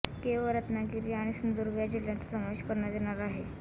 केवळ रत्नागिरी आणि सिंधुदुर्ग या जिल्ह्यांचा समावेश करण्यात येणार आहे